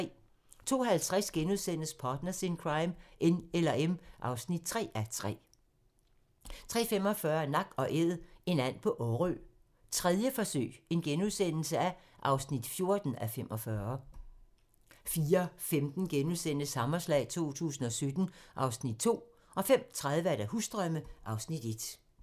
02:50: Partners in Crime: N eller M (3:3)* 03:45: Nak & Æd - en and på Årø, 3. forsøg (14:45)* 04:15: Hammerslag 2017 (Afs. 2)* 05:30: Husdrømme (Afs. 1)